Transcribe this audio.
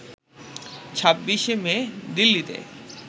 ২৬ মে দিল্লিতে